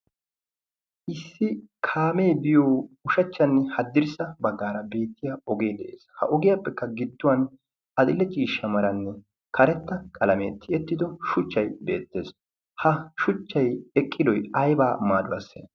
issi kaamee biyo ushachchanne haddirssa baggaara beettiya ogee de'es ha ogiyaappekka gidduwan adl'e ciishsha meranne karetta qalamee ttiyettido shuchchay beettees ha shuchchay eqqidoy aybaa maaduwaasse